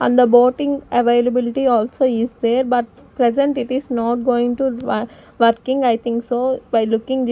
and the boating availability also is there but present it is not going to wor working I think so by looking this--